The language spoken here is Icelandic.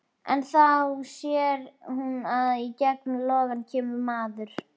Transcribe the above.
En þá sér hún að í gegnum logana kemur maður.